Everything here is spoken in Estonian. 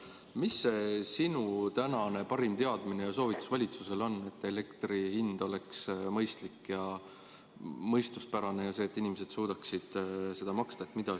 Mis see sinu tänane parim teadmine ja soovitus valitsusele on, et elektri hind oleks mõistlik ja mõistuspärane ning et inimesed suudaksid seda maksta?